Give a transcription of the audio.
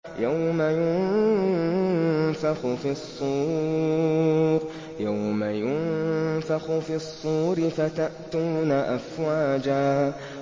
يَوْمَ يُنفَخُ فِي الصُّورِ فَتَأْتُونَ أَفْوَاجًا